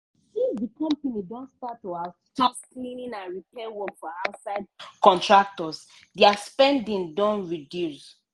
since di company don start to outsource cleaning and repair work to outside contractors dia spending don reduce.